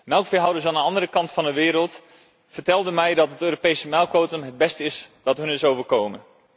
Melkveehouders aan de andere kant van de wereld vertelden mij dat het Europese melkquotum het beste is wat hun is overkomen.